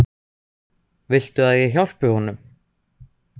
Viltu að ég hjálpi honum?